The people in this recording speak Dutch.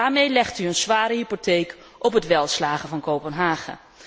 Daarmee legt u een zware hypotheek op het welslagen van Kopenhagen.